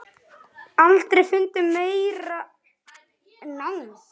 Aldrei fundið meiri nánd.